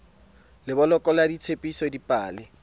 le boloko ba ditsebiso dipale